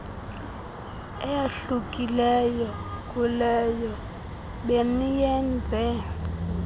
eyahlukileyo kuleyo beniyenze